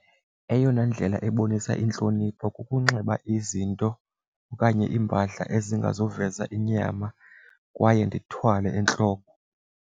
Eyona ndlela ebonisa intlonipho kukunxiba izinto okanye iimpahla ezingazuveza inyama kwaye ndithwale entloko.